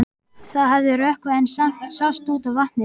Það hafði rökkvað en samt sást út á vatnið.